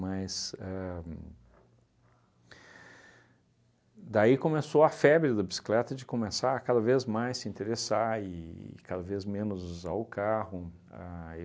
ahn... Daí começou a febre da bicicleta de começar cada vez mais se interessar e cada vez menos usar o carro. A